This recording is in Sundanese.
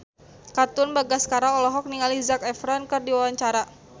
Katon Bagaskara olohok ningali Zac Efron keur diwawancara